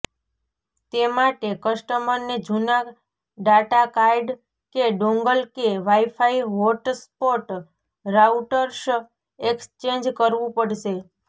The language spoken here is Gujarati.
તે માટે કસ્ટમરને જૂના ડાટા કાર્ડ કે ડોંગલ કે વાઈફાઈ હોટસ્પોટ રાઉટર્સ એક્સચેંજ કરવુ પડશે